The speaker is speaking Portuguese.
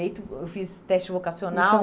Direito, Eu fiz teste vocacional.